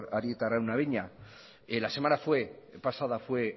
arieta araunabeña la semana pasada fue